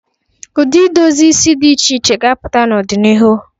Ụdị idozi isi dị iche iche ga-apụta n'ọdinihu.